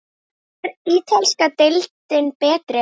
Er ítalska deildin betri?